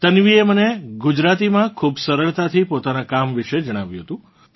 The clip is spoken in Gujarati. તન્વીએ મને ગુજરાતીમાં ખૂબ સરળતાથી પોતાનાં કામ વિશે જણાવ્યું હતું